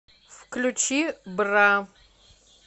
включи бра